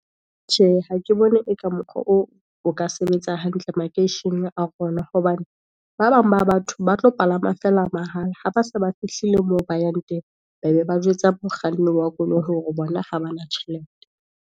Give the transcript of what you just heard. Tjhe, ha ke bone e ka mokgwa oo, o ka sebetsa hantle makeisheneng a rona, hobane ba bang ba batho, ba tlo palama feela mahala, ha ba se ba fihlile moo ba yang teng. Ba be ba jwetsa mokganni wa koloi hore bona ha ba na tjhelete.